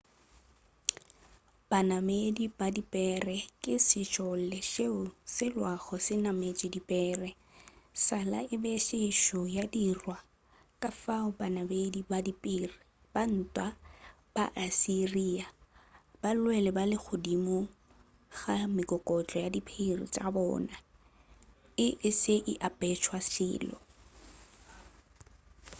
banamedi ba dipere ke sešole seo se lwago se nametše dipere sala e be e sešo ya dirwa kafao banamedi ba dipere ba ntwa ba assyria ba lwele ba le godimo ga mekokotlo ya dipere tša bona e se a apešwa selo